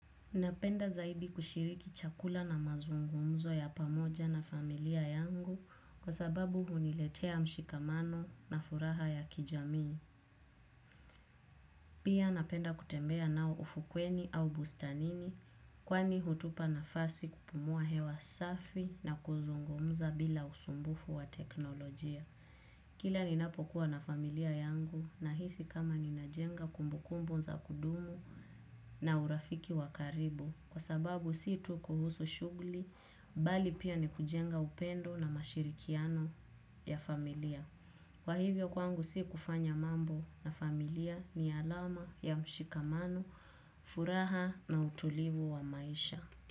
Napenda zaidi kushiriki chakula na mazungumzo ya pamoja na familia yangu kwa sababu huniletea mshikamano na furaha ya kijamii. Pia napenda kutembea nao ufukweni au bustanini kwani hutupa na fasi kupumua hewa safi na kuzungumza bila usumbufu wa teknolojia. Kila ninapokuwa na familia yangu na hisi kama nimejenga kumbu kumbu za kudumu na urafiki wa ukaribu kwa sababu si tu kuhusu shughli bali pia ni kujenga upendo na mashirikiano ya familia. Kwa hivyo kwangu si kufanya mambo na familia ni alama ya mshikamano furaha na utulivu wa maisha.